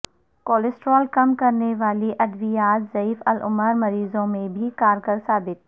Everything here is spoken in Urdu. کولیسٹرول کم کرنے والی ادویات ضعیف العمر مریضوں میں بھی کارگر ثابت